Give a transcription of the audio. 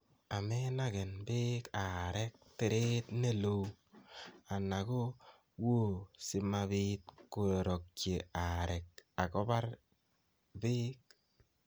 amenagen beek areek tereet ne loo, ana ko wuo simabiit kororokyi areek ak kobar beek